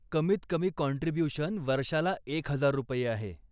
कमीत कमी काँट्रिब्यूशन वर्षाला एक हजार रुपये आहे.